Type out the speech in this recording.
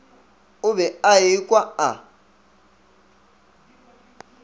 o be a ekwa a